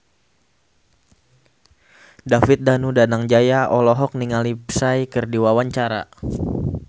David Danu Danangjaya olohok ningali Psy keur diwawancara